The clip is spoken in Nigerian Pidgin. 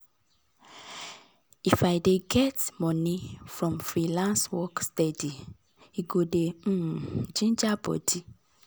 if i dey get money from freelance work steady e go dey um ginger body